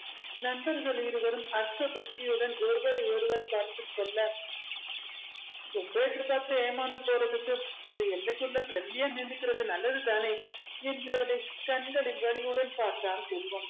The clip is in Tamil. நண்பர்கள் இருவரும் அஸ்த புஸ்தியுடன் ஒருவரை ஒருவர் பார்த்துக்கொள்ள ரொம்ப எதிர்பார்த்து ஏமாந்து போறதுக்கு ஒரு எல்லைக்குள்ள friendly யா நின்னுக்கிறது நல்லது தானே என்று அவனை கண்களில் வலியுடன் பார்த்தான் செல்வம்